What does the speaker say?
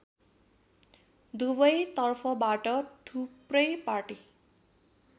दुवैतर्फबाट थुप्रै पाटी